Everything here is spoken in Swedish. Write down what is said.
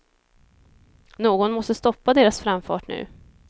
Någon måste stoppa deras framfart nu.